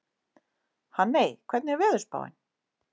Hanney, hvernig er veðurspáin?